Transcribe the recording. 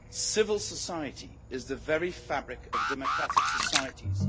Civil society is the very fabric of democratic societies.